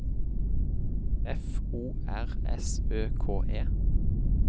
F O R S Ø K E